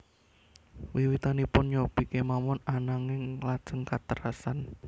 Wiwitanipun nyobi kemawon ananging lajeng katerasan